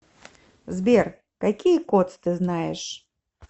сбер какие кодс ты знаешь